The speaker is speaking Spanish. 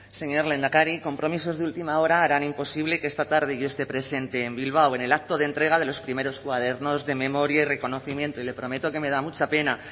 señor lehendakari compromisos de última hora harán imposible que esta tarde yo esté presente en bilbao en el acto de entrega de los primeros cuadernos de memoria y reconocimiento y le prometo que me da mucha pena